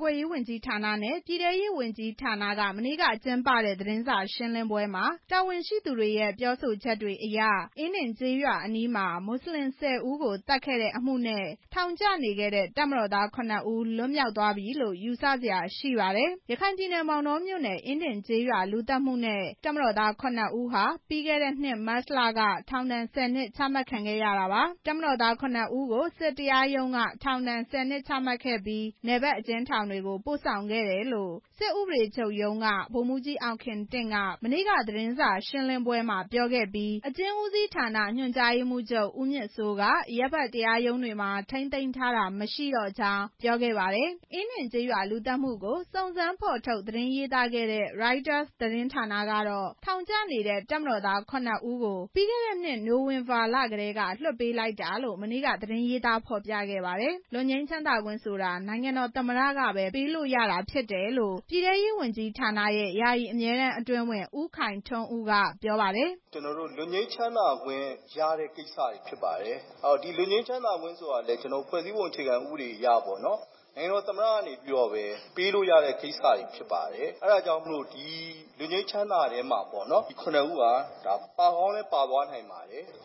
ကွယ်ရေးဝန်ကြီးဌာနနဲ့ ပြည်ထဲရေးဝန်ကြီးဌာနက မနေ့ကကျင်းပတဲ့ သတင်းစာရှင်းလင်းပွဲမှာ တာဝန်ရှိသူတွေရဲ့ ပြောဆိုချက်တွေအရ အင်းဒင်ကျေးရွာအနီးမှာ မွတ်စလင် ၁၀ ဦးကို သတ်ခဲ့တဲ့အမှုနဲ့ ထောင်ကျနေခဲ့တဲ့ တပ်မတော်သား ခုနှစ်ဦး လွတ်မြောက်သွားပြီလို့ ယူဆစရာရှိပါတယ်။ ရခိုင်ပြည်နယ်၊ မောင်တောမြို့နယ်၊ အင်းဒင်ကျေးရွာ လူသတ်မှုနဲ့ တပ်မတော်သား ၇ ဦးဟာ ပြီးခဲ့တဲ့နှစ် မတ်လက ထောင်ဒဏ် ၁ဝ နှစ် ချမှတ်ခံခဲ့ရတာပါ။ တပ်မတော်သား ခုနှစ်ဦးကို စစ်တရားရုံးက ထောင်ဒဏ် ၁၀ နှစ်ချခဲ့ပြီး နယ်ဘက်အကျဉ်းထောင်တွေကို ပို့ဆောင်ခဲ့တယ်လို့ စစ်ဥပဒေချုပ်ရုံးက ဗိုလ်မှူးကြီးအောင်ခင်တင့်က မနေ့က သတင်းစာရှင်းလင်းပွဲမှာ ပြောခဲ့ပြီး အကျဉ်းဦးစီးဌာန ညွှန်ကြားရေးမှူးချုပ် ဦးမြင့်စိုးက အရပ်ဖက်အကျဉ်းထောင်တွေမှာ ထိန်းသိမ်းထားတာ မရှိတော့ကြောင်း ပြောခဲ့ပါတယ်။ အင်းဒင်ကျေးရွာလူသတ်မှုကို စုံစမ်းဖော်ထုတ်သတင်းရေးသားခဲ့တဲ့ ရိုက်တာ သတင်းဌာနကတော့ ထောင်ကျနေတဲ့ တပ်မတော်သား ခုနှစ်ဦးကို ပြီးခဲ့တဲ့နှစ် နိုဝင်ဘာလကတည်းက လွှတ်ပေးလိုက်တာလို့ မနေ့က သတင်း ရေးသားဖော်ပြခဲ့ပါတယ်။ လွတ်ငြိမ်းချမ်းသာခွင့်ဆိုတာ နိုင်ငံတော်သမ္မတကပဲ ပေးလို့ရတာဖြစ်တယ်လို့ ပြည်ထဲရေးဝန်ကြီးဌာနရဲ့ ယာယီအမြဲတမ်းအတွင်းဝန် ဦးခိုင်ထွန်းဦး က ပြောပါတယ်။ “ဒါကတော့ လွတ်ငြိမ်းချမ်းသာခွင့်ရတဲ့ ကိစ္စတွေဖြစ်ပါတယ်။ လွတ်ငြိမ်းချမ်းသာခွင့်ဆိုတာ ဖွဲ့စည်းပုံ အခြေခံဥပဒေအရပေ့ါနော် နိုင်ငံတော်သမ္မတနေပဲ ပေးလို့ရတဲ့ကိစ္စတွေဖြစ်ပါတယ်။ အဲဒါကြောင့်မို့လို ဒီလွတ်ငြိမ်းချမ်းသာထဲမှာ ဒီ ခုနှစ်ဦးဟာ ပါကောင်းလည်းပါသွားနိုင်ပါတယ်။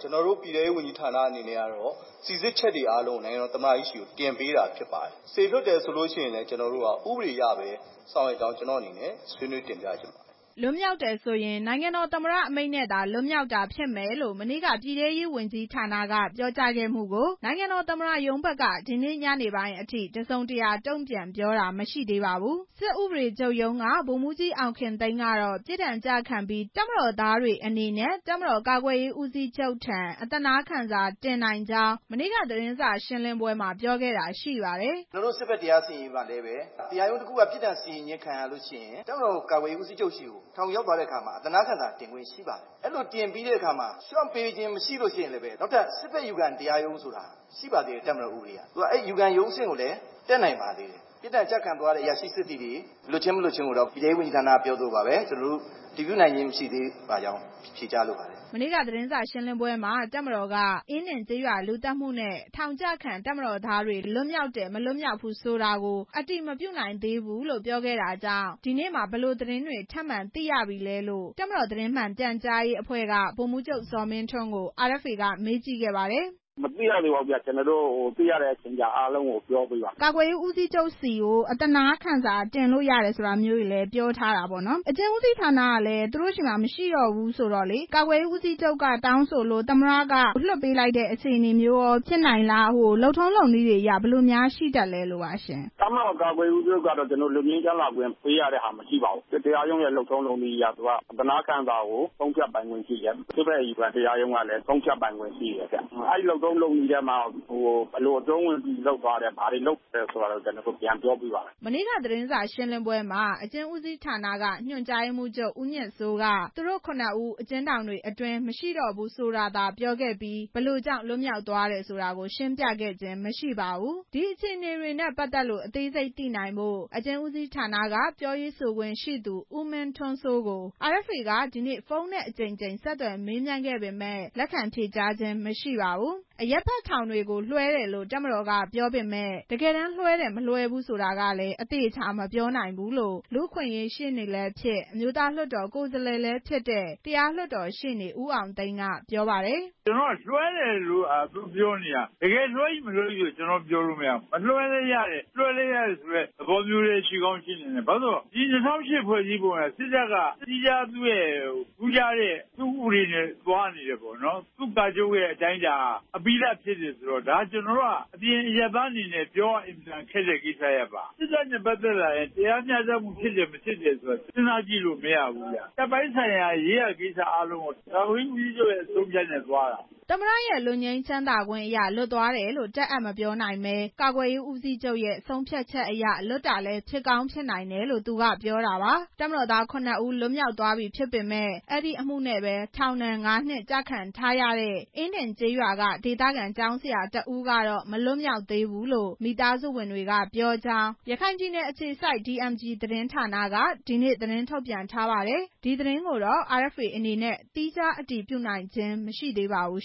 ကျနော်တို့ ပြည်ထဲရေးဝန်ကြီးဌာနအနေနဲ့ကတော့ စိစစ်ချက်တွေကို နိုင်ငံတော်သမ္မတကြီးဆီကို တင်ပေးတာဖြစ်ပါတယ်။ လွှတ်ပေးတယ်ဆိုရင်လည်း ဥပဒေအရပဲ ဆောင်ရွက်တာဖြစ်ကြောင်း ကျနော့်အနေနဲ့ ဆွေးနွေးတင်ပြလိုပါတယ်။” လွတ်မြောက်တယ်ဆိုရင် နိုင်ငံတော်သမ္မတအမိန့်နဲ့သာ လွတ်မြောက်တာဖြစ်မယ်လို့ မနေ့က ပြည်ထဲရေးဝန်ကြီးဌာနက ပြောကြားခဲ့မှုကို နိုင်ငံတော်သမ္မတရုံးဘက်က ဒီနေ့ညနေပိုင်အထိ တစ်စုံတစ်ရာ တုံ့ပြန်ပြောတာ မရှိပါဘူး။ စစ်ဥပဒေချုပ်ရုံးက ဗိုလ်မှူးကြီး အောင်ခင်သိန်းကတော့ ပြစ်ဒဏ်ကျခံပြီး တပ်မတော်သားတွေအနေနဲ့ တပ်မတော်ကာကွယ်ရေးဦးစီးချုပ်ထံ အသနားခံစာတင်နိုင်ကြောင်း မနေ့က သတင်းစာရှင်းလင်းပွဲမှာ ပြောခဲ့တာရှိပါတယ်။ “ကျနော်တို့ စစ်ဘက်တရားရုံးမှာ တရားရုံးတစ်ခုက ပြစ်ဒဏ်စီရင်ခြင်းခံရလို့ရှိရင် တပ်မတော် ကာကွယ်ရေးဦးစီးချုပ်ဆီ ထောင်ရောက်သွားတဲ့အခါ အသနားခံစာတင်လို့ရပါတယ်။ ဒီမှာ လျော့ပေးခြင်းမရှိရင်လည်း နောက်ထပ် စစ်ဘက်အယူခံတရားရုံးဆိုတာ ရှိပါသေးတယ်။ အဲ့ဒီအယူခံရုံးကိုလည်း တက်လို့ ရပါသေးတယ်။ ပြစ်ဒဏ်ကျခံသွားရတဲ့ အရာရှိစစ်သည်တွေ လွတ်ခြင်းမလွတ်ခြင်းကိုတော့ ပြည်ထဲရေးဝန်ကြီးဌာနက အတည်ပြုနိုင်ခြင်း မရှိသေးပါဘူး။ ” မနေ့က သတင်းစာရှင်းလင်းပွဲမှာ တပ်မတော်က အင်းဒင်ကျေးရွာလူသတ်မှုနဲ့ ထောင်ကျခံ တပ်မတော်သားတွေ လွတ်မြောက်သွားတယ်၊ မသွားဘူးဆိုတာ အတည်မပြုနိုင်သေးဘူးလို့ ပြောခဲ့တာကြောင့် ဒီနေ့မှာ ဘယ် လိုသတင်းတွေ ထပ်မံသိရပြီလဲလို့ တပ်မတော်သတင်း မှန်ပြန်ကြားရေးအဖွဲ့က ဗိုလ်မှူးချုပ် ဇော်မင်းထွန်းကို RFA က မေးမြန်းကြည့်ခဲ့ပါတယ်။ ဗိုလ်မှူးချုပ်ဇော်မင်းထွန်း- မသိရသေးပါဘူး။ သိရတဲ့အချိန်ကျ ကျနော်တို့ ပြောပေးပါ့မယ်။ RFA - ကာကွယ်ရေးဦးစီးချုပ်ဆီကို အသနားခံစာတင်လို့ရတယ်လို့လည်း ပြောထားတယ်။ အကျဉ်းဦးစီးဌာနကလည်း သူတို့ဆီမှာမရှိတော့ဘူးဆိုတော့ ကာကွယ်ရေးဦးစီးချုပ်က တောင်းဆိုလို့ သမ္မတက လွှတ်ပေးလိုက်တဲ့ အခြေအနေမျိုးလား။ လုပ်ထုံးလုပ်နည်းတွေအရ ဘယ်လိုများရှိတတ်လဲ လို့ပါရှင့်။ ဗိုလ်မှူးချုပ်ဇော်မင်းထွန်း - တပ်မတော်ကာကွယ်ရေးဦးစီးချုပ်ကတော့ လွတ်ငြိမ်းချမ်းသာပေးရတဲ့ဟာမရှိပါဘူး။ စစ်တရားရုံးရဲ့ လုပ်ထုံးလုပ်နည်းအရ သူက အသနားခံစာကို ဆုံးဖြတ်ပိုင်ခွင့်ရှိတယ်။ စစ်ဘက်အယူခံတရားရုံးကလည်း ဆုံးဖြတ်ပိုင်ခွင့်ရှိတယ်။ အဲလုပ်ထုံးလုပ်နည်းထဲမှာ ဘယ်လိုအကျုံးဝင်ပြီးလုပ်သွားတယ် ဘာတွေလုပ်သွားတယ်ဆိုတာ ပြန်ပြောပေးပါမယ်ခင်ဗျ။ မနေ့က သတင်းစာရှင်းလင်းပွဲမှာ အကျဉ်းဦးစီးဌာနက ညွှန်ကြားရေးမှူးချုပ် ဦးမြင့်စိုးက သူတို့ ခုနှစ်ဦး အကျဉ်းထောင်တွေအတွင်း မရှိတော့ဘူးဆိုတာသာ ပြောခဲ့ပြီး ဘယ်လိုကြောင့် လွတ်မြောက်သွားတယ်ဆိုတာ ရှင်းပြခဲ့ခြင်းမရှိပါဘူး။ ဒီအခြေအနေနဲ့ ပတ်သက်လို့ အသေးစိတ်သိနိုင်ဖို့ အကျဉ်းဦးစီးဌာနက ပြောရေးဆိုခွင့်ရှိသူ ဦးမင်းထွန်းစိုးကို RFA က ဒီနေ့ ဖုန်းနဲ့အကြိမ်ကြိမ် ဆက်သွယ်မေးမြန်းခဲ့ပေမယ့် လက်ခံဖြေကြားခြင်းမရှိပါဘူး။ အရပ်ဖက်ထောင်တွေကို လွှဲတယ်လို့ တပ်မတော်က ပြောပေမယ့် တကယ်တမ်းလွှဲတယ် မလွှဲဘူးဆိုတာကလည်း အသေချာမပြောနိုင်ဘူးလို့ လူ့အခွင့်အရေးရှေ့နေလည်းဖြစ် အမျိုးသားလွှတ်တော် ကိုယ်စားလှယ်လည်းဖြစ်တဲ့ တရားလွှတ်တော်ရှေ့နေ ဦးအောင်သိန်း ကပြောပါတယ်။ “လွှဲတယ်လို့သာသူပြောနေတာ တကယ်လွှဲတယ်မလွှဲဘူးဆိုတာ ပြောမရဘူး။ မလွှဲလည်းရတယ် လွှဲလည်းရတယ်ဆိုတဲ့ သဘောမျိုးလည်းရှိကောင်းရှိနိုင်တယ်။ ၂၀၀၈ ဖွဲ့စည်းပုံအရ စစ်တပ်က သီးခြား သူ့ဥပဒေအရ သူသွားနေတယ်။ သူ့ကာချုပ်ရဲ့ အတိုင်းအတာ အပြီးသတ်ဖြစ်နေတော့ အပြင်အရပ်သား အနေနဲ့ ပြောရခက်တဲ့ အနေအထားပါ။ စစ်တပ်နဲ့ ပတ်သက်လာရင် တရားမျှတမှုဖြစ်တယ် မဖြစ်တယ် စဉ်းစားလို့မရဘူး။ တပ်ပိုင်းဆိုင်ရာရေးရာကိစ္စအားလုံးကို ကာကွယ်ရေးဦးစီးချုပ်ရဲ့ အဆုံးအဖြတ်နဲ့ သွားတာ။ ” သမ္မတရဲ့ လွတ်ငြိမ်းချမ်းသာခွင့်အရ လွတ်သွားတယ်လို့ တပ်အပ်မပြောနိုင်ဘဲ ကာကွယ်ရေးဦးစီးချုပ်ရဲ့ ဆုံးဖြတ်ချက်အရ လွတ်တာလည်း ဖြစ်ကောင်းဖြစ်နိုင်တယ်လို့ သူကပြောတာပါ။ တပ်မတော်သား ခုနှစ်ဦး လွတ်မြောက်သွားပြီဖြစ်ပေမယ့် အဲဒီအမှုနဲ့ပဲ ထောင်ဒဏ် ငါးနှစ်ကျခံထားရတဲ့ အင်းဒင်ကျေးရွာမှ ဒေသခံ ကျောင်းဆရာတစ်ဦးကတော့ မလွတ်မြောက်သေးဘူးလို့ မိသားစုဝင်တွေက ပြောကြောင်း ရခိုင်ပြည်နယ်အခြေစိုက် DMG သတင်းဌာနက ဒီနေ့ သတင်းထုတ်ပြန်ထားပါတယ်။ ဒီသတင်းကိုတော့ RFA အနေနဲ့ သီးခြားအတည်ပြုနိုင်ခြင်း မရှိသေးပါဘူး